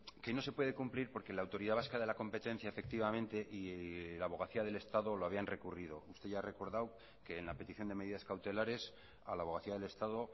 que no se puede cumplir porque la autoridad vasca de la competencia efectivamente y la abogacía del estado lo habían recurrido usted ya ha recordado que en la petición de medidas cautelares a la abogacía del estado